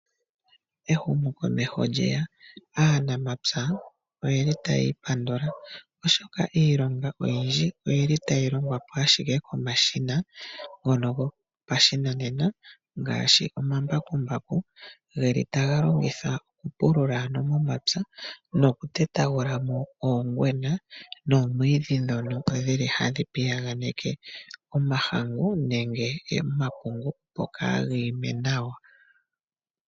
Ehumokomeho lye ya. Aanamapya otaya ipandula, oshoka iilonga oyindji otayi longwa po ashike komashina ngono gopashinanena ngaashi omambakumbaku taga longithwa okupulula momapya nokutetagula mo oongwena noomwiidhi ndhono hadhi piyaganeke omahangu nenge omapungu, opo kaaga ime nawa.